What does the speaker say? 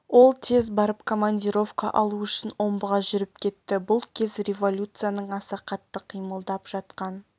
ол тез барып командировка алу үшін омбыға жүріп кетті бұл кез революцияның аса қатты қимылдап жатқан